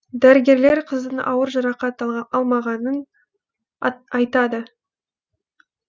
дәрігерлер қыздың ауыр жарақат алмағанын айтады